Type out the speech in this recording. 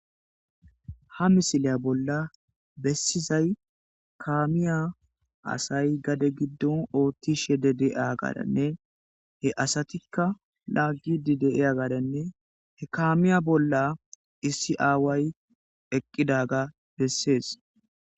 ha misiliya bolla bessizay kaamiya asay gade giddon oottishe de de7a gadanne he asatikka laaggidi deiya gaadanne he kaamiya bolla issi aaway eqqidaga bessees